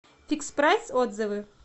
фикспрайс отзывы